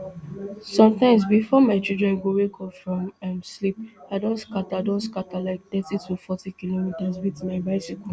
sometimes bifor my children go wake up from um sleep i don scata don scata like thirty to forty kilometres wit my bicycle